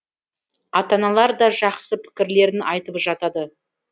ата аналар да жақсы пікірлерін айтып жатады